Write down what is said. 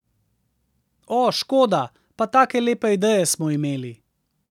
O, škoda, pa take lepe ideje smo imeli!